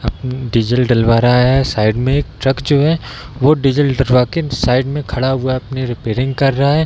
अपनी डीजल डलवा रहा है साइड में एक ट्रक जो है वो डीजल डलवा के साइड में खड़ा हुआ है अपनी रिपेयरिंग कर रहा है।